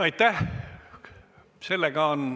Aitäh!